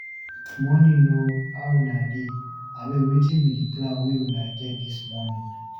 Morning o! How una dey? Abeg, wetin be di plan wey una get dis morning?